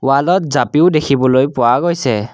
Wall ত জাপিও দেখিবলৈ পোৱা গৈছে।